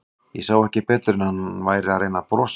Ég sá ekki betur en að hann væri að reyna að brosa.